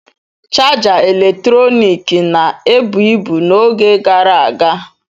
Chaja eletrọnịkị na-ebu ibu n'oge gara aga.